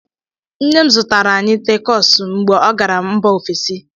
Nne m zụtara anyị takosu mgbe ọ gara mba ofesi.